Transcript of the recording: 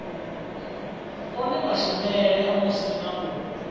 one mashumele a musina u